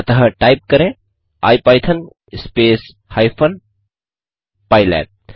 अतः टाइप करें IPython space hyphen pylab